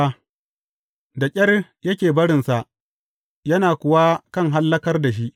Da ƙyar yake barinsa, yana kuwa kan hallakar da shi.